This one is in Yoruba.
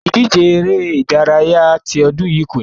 Ìdíje eré-ìdárayá ti ọdún yìí kò ní ṣe é ṣẹ.